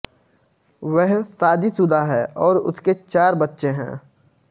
वह शादीशुदा है और उसके चार बच्चे हैं